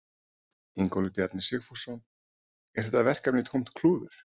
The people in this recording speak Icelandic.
Ingólfur Bjarni Sigfússon: Er þetta verkefni tómt klúður?